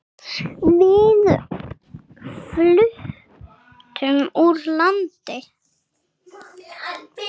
Við fluttum úr landi.